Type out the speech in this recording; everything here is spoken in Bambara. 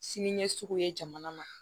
Sini ɲɛsigi ye jamana ma